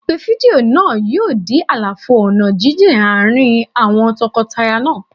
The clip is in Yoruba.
Ìpè fídíò náà yóò dí àlàfo ọ̀nà jíjìn àárín àwọn tọkọtaya náà.